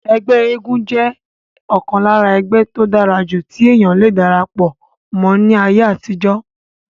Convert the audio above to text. ẹgbẹ́ eégún jẹ́ ọ̀kan lára ẹgbẹ́ tó dára jù tí èèyàn le darapọ̀ mọ́ ní ayé àtijọ́